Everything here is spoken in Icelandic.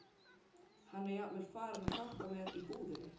Hann er jafnvel farinn að hjálpa mér í búðinni.